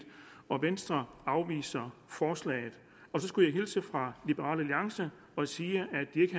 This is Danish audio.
og venstre afviser forslaget så skulle jeg hilse fra liberal alliance og sige